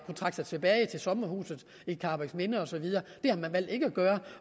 trække sig tilbage til sommerhuset i karrebæksminde og så videre det har de valgt ikke at gøre